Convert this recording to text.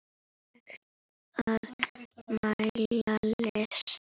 Hægt að mæla list?